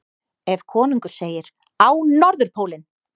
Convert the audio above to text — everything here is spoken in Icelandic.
Ef konungur segir: Á Norðurpólinn!